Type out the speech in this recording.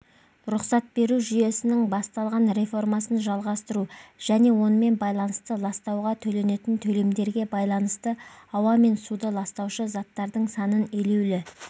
рұқсат беру жүйесінің басталған реформасын жалғастыру және онымен байланысты ластауға төленетін төлемдерге байланысты ауа мен суды ластаушы заттардың санын елеулі